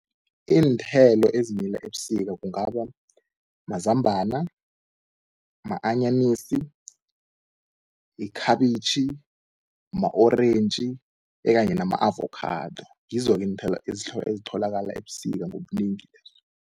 Iinthelo ezimila ebusika kungaba mazambana, ma-anyanisi, ikhabitjhi, ma-orentji ekanye nama-avakhado. Ngizo-ke iinthelo ezitholakala ebusika ngobunengi lezo.